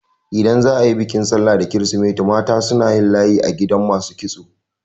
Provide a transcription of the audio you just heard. Idan za a yi bikin sallah da kirisimeti mata suna layi a gidan masu kitso.